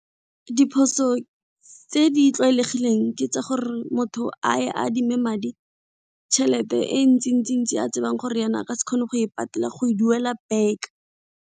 Diphoso tse di tlwaelegileng ke tsa gore motho a e adime madi tšhelete e ntsi a tsebang gore yena a ka se kgone go e patela go e duela back.